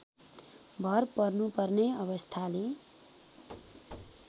भर पर्नुपर्ने अवस्थाले